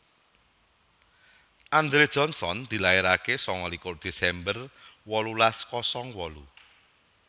Andre Johnson dilairaké sanga likur Desember wolulas kosong wolu